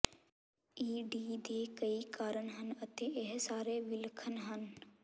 ਈ D ਦੇ ਕਈ ਕਾਰਨ ਹਨ ਅਤੇ ਇਹ ਸਾਰੇ ਵਿਲੱਖਣ ਹਨ